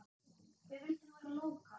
Við vildum vera lókal.